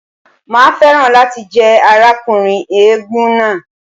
Màá fẹ́ràn láti jẹ́ arákùnrin eégún náà.